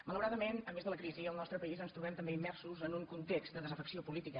malauradament a més de la crisi al nostre país ens trobem també immersos en un context de desafecció política